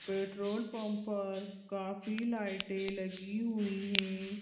Petrol pump पर काफी लाइटें लगी हुई हैं।